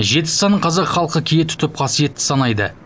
жеті санын қазақ халқы кие тұтып қасиетті санайды